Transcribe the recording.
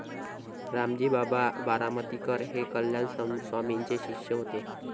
रामजी बाबा बारामतीकर हे कल्याण स्वामींचे शिष्य होते.